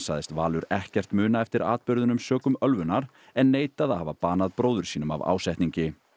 sagðist Valur ekkert muna eftir atburðunum sökum ölvunar en neitaði að hafa banað bróður sínum af ásetningi